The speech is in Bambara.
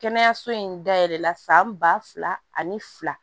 Kɛnɛyaso in dayɛlɛla san ba fila ani fila